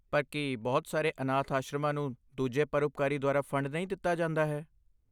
ਪਰ ਕੀ ਬਹੁਤ ਸਾਰੇ ਅਨਾਥ ਆਸ਼ਰਮਾਂ ਨੂੰ ਦੂਜੇ ਪਰਉਪਕਾਰੀ ਦੁਆਰਾ ਫੰਡ ਨਹੀਂ ਦਿੱਤਾ ਜਾਂਦਾ ਹੈ?